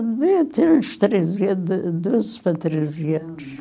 Deve ter uns treze anos, de doze para treze anos.